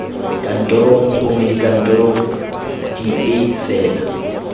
kantorong gongwe dikantorong dipe fela